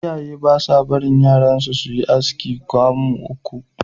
Iyaye ba sa barin yaransu su yi aski kamu uku (3 steps).